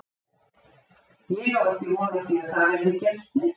Ég á ekki von á því að það verði gert neitt.